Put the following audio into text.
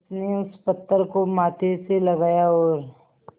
उसने उस पत्थर को माथे से लगाया और